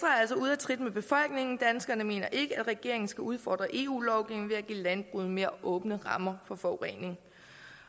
at trit med befolkningen danskerne mener ikke at regeringen skal udfordre eu lovgivningen ved at give landbruget mere åbne rammer for forurening